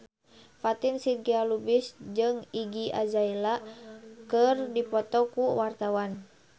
Fatin Shidqia Lubis jeung Iggy Azalea keur dipoto ku wartawan